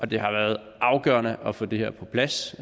det har været afgørende at få det her på plads